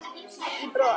í brott.